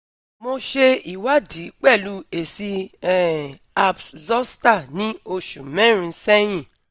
Mo se iwadi pelu esi um herpes zoster ni osu merin sehin